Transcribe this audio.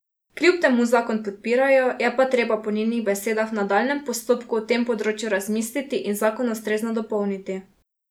Kljub temu zakon podpirajo, je pa treba po njenih besedah v nadaljnjem postopku o tem področju razmisliti in zakon ustrezno dopolniti.